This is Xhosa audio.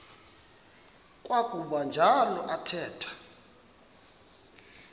kwakuba njalo athetha